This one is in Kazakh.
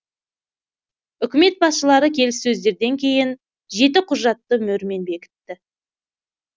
үкімет басшылары келіссөздерден кейін жеті құжатты мөрмен бекітті